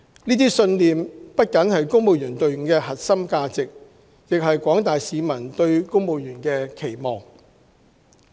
這些信念不僅是公務員隊伍的核心價值，更是廣大市民對公務員的期望。